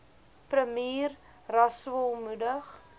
premier rasool moedig